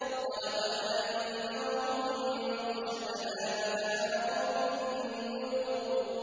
وَلَقَدْ أَنذَرَهُم بَطْشَتَنَا فَتَمَارَوْا بِالنُّذُرِ